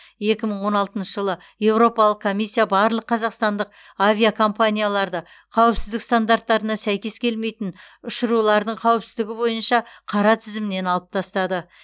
екі мың он алтыншы жылы еуропалық комиссия барлық қазақстандық авиакомпанияларды қауіпсіздік стандарттарына сәйкес келмейтін ұшырулардың қауіпсіздігі бойынша қара тізімнен алып тастады